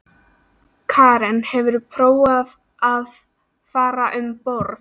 Karen: Hefurðu prófað að fara um borð?